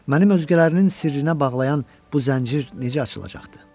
Mənim özgələrinin sirrinə bağlayan bu zəncir necə açılacaqdı?